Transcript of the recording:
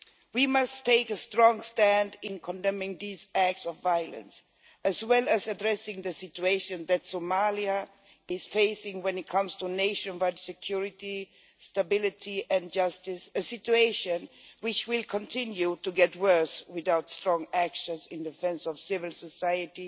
We must take a strong stand in condemning these acts of violence as well as addressing the situation that Somalia is facing when it comes to nationwide security, stability and justice a situation which will continue to worsen without strong action in defence of civil society,